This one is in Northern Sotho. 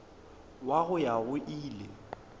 wa go ya go ile